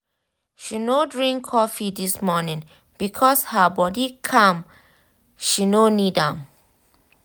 she no drink coffee this morning because her body calm she no need am.